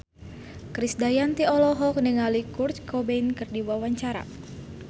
Krisdayanti olohok ningali Kurt Cobain keur diwawancara